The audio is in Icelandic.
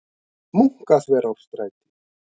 Munkaþverárstræti